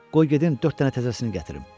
Qoy gedim dörd dənə təzəsini gətirim.